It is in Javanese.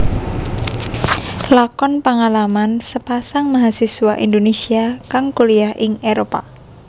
Lakon pangalaman sepasang mahasiswa Indonesia kang kuliyah ing Éropah